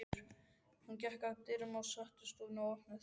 Hún gekk að dyrum setustofunnar og opnaði þær.